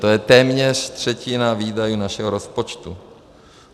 To je téměř třetina výdajů našeho rozpočtu.